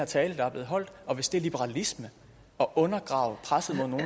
tale der er blevet holdt og hvis det er liberalisme at undergrave presset mod